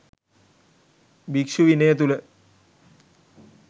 භික්‍ෂු විනය තුළ